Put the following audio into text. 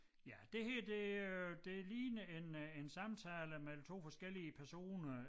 Ja det her det øh det ligner en øh en samtale mellem 2 forskellige personer